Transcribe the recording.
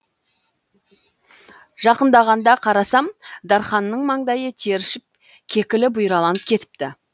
жақындағанда қарасам дарханның маңдайы тершіп кекілі бұйраланып кетіпті